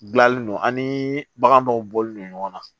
Gilalen don ani bagan dɔw bɔlen don ɲɔgɔn na